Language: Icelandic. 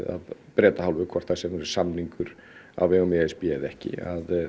af Breta hálfu hvort sem verður samningur á vegum e s b eða ekki